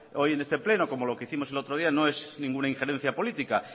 hoy en este pleno como lo que hicimos el otro día no es ninguna injerencia política